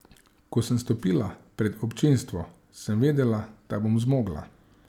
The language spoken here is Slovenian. Ko sem stopila pred občinstvo, sem vedela, da bom zmogla.